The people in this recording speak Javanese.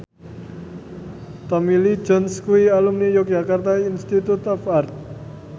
Tommy Lee Jones kuwi alumni Yogyakarta Institute of Art